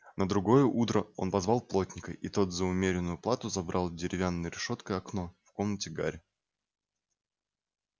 на другое утро он позвал плотника и тот за умеренную плату забрал деревянной решёткой окно в комнате гарри